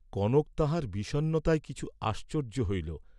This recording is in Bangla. কনক তাঁহার বিষন্নতায় কিছু আশ্চর্য্য হইল।